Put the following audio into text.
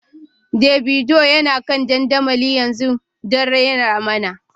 Davido yana kan dandamali yanzu don rera mana.